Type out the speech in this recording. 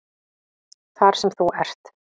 Þar sem þú ert?